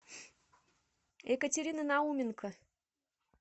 екатерины науменко